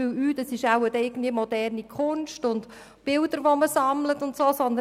man denkt nicht, es gehe nur um moderne Kunst und um das Sammeln von Bildern.